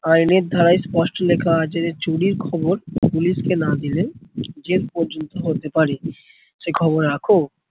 আইনের ধারায় স্পষ্ট লেখা আছে যে চুরির খবর পুলিশ কে না দিলেই জেল পর্যন্ত হতে পারে। সে খবর রাখো?